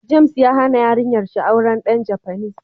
James ya Haba yarinyan shi auren dan Japanese.